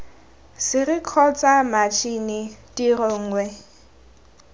sere kgotsa matšhini tiro nngwe